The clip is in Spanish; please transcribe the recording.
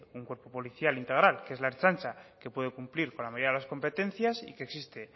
un cuerpo policial integral que es la ertzaintza que puede cumplir con la mayoría de las competencias y que existe